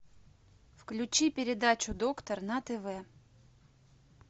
включи передачу доктор на тв